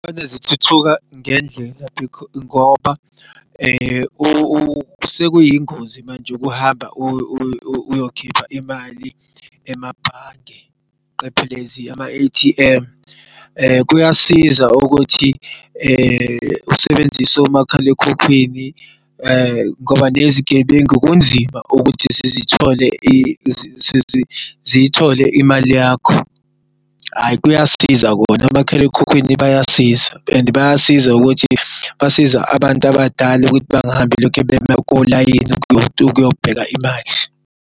Izithuthuka ngendlela ngoba sekuyingozi manje ukuhamba uyokhipha imali emabhange phecelezi ama-A_T_M. Kuyasiza ukuthi usebenzis'omakhalekhukhwini ngoba nezigebengu kunzima ukuthi ziy'thole imali yakho. Hhayi, kuyasiza khona omakhalekhukhwini bayasiza and bayasiza ukuthi basiza abantu abadala ukuthi bangahambi belokhe bema kolayini ukuyobheka imali.